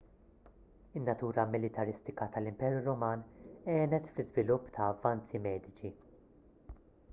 in-natura militaristika tal-imperu ruman għenet fl-iżvilupp ta' avvanzi mediċi